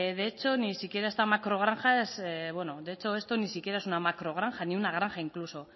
de hecho ni siquiera esta macrogranja es bueno de hecho esto ni siquiera es una macrogranja ni una granja incluso